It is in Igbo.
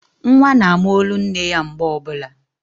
Nwa na ama olu nne ya mgbe ọbụla